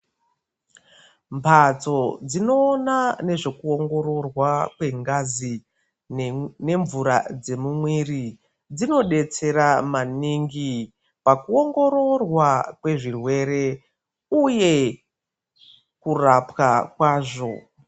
Mbatso dzinoona nezvekuongororwa kwengazi nemvura dzemumwiri dzinodetsera maningi pakuongororwa kwezvirwere uye kurapwa kwazvo .